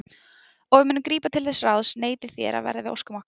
Og við munum grípa til þess ráðs neitið þér að verða við óskum okkar.